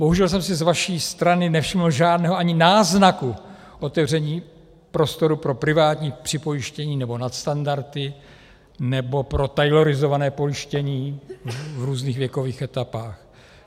Bohužel jsem si z vaší strany nevšiml žádného ani náznaku otevření prostoru pro privátní připojištění nebo nadstandardy nebo pro taylorizované pojištění v různých věkových etapách.